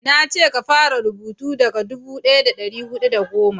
na ce ka fara rubutu daga dubu daya da dari hudu da goma